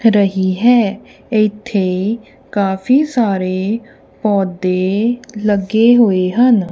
ਰਹੀ ਹੈ ਇੱਥੇ ਕਾਫੀ ਸਾਰੇ ਪੌਧੇ ਲੱਗੇ ਹੋਏ ਹਨ।